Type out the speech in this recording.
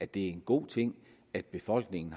det er en god ting at befolkningen